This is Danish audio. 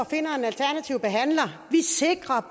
og finder en alternativ behandler vi sikrer